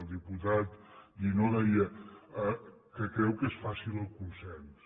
el diputat guinó deia que creu que és fàcil el consens